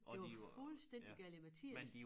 Det var fuldstændig galimatias